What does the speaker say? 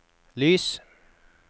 lys